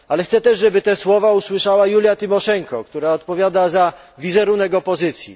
Chcę też, żeby te słowa usłyszała Julia Tymoszenko, która odpowiada za wizerunek opozycji.